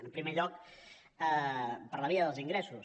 en primer lloc per la via dels ingressos